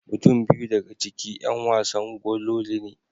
Mutum biyu daga ciki 'yan wasa gololi ne.